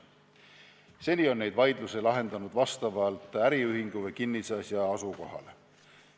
Seni on neid vaidlusi lahendatud vastavalt äriühingu või kinnisasja asukohale.